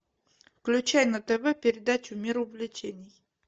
включай на тв передачу мир увлечений